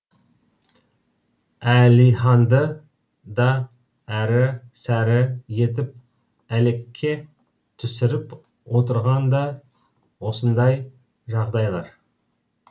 әлиханды да әрі сәрі етіп әлекке түсіріп отырған да осындай жағдайлар